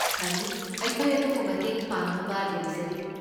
ꯐꯅꯤ, ꯑꯩꯈꯣꯏ ꯑꯗꯣꯝꯕꯨ ꯃꯇꯦꯡ ꯄꯥꯡꯅꯕ ꯂꯩꯖꯔꯤ꯫